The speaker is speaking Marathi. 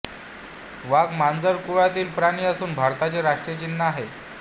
वाघ मार्जार कुळातील प्राणी असून भारताचे राष्ट्रीय चिन्ह आहे